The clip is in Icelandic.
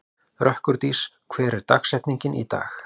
Rökkurdís, hver er dagsetningin í dag?